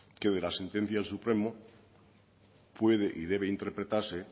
que de la sentencia del supremo puede y debe interpretarse